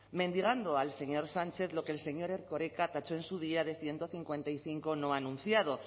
mendigando al señor sánchez lo que el señor erkoreka tachó en su día de ciento cincuenta y cinco no anunciado